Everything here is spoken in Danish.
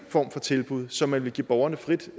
form for tilbud som man ville give borgerne frit